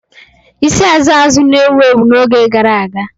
Isi Azụ azụ na-ewu ewu n'oge gara aga.